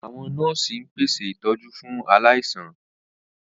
Àwọn nọ́ọ̀sì ń pèsè ìtọ́jú fún aláìsàn.